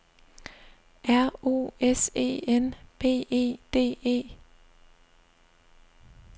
R O S E N B E D E